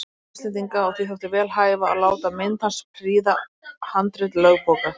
Norðmanna og Íslendinga, og því þótti vel hæfa að láta mynd hans prýða handrit lögbóka.